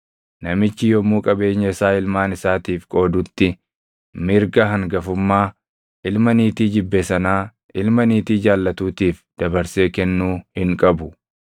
namichi yommuu qabeenya isaa ilmaan isaatiif qoodutti mirga hangafummaa ilma niitii jibbe sanaa ilma niitii jaallatuutiif dabarsee kennuu hin qabu.